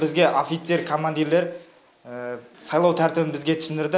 бізге офицер командирлер сайлау тәртібін бізге түсіндірді